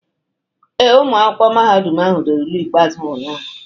Ee, ụmụ akwụkwọ mahadum ahụ dere ule ikpeazụ ha ụnyahụ.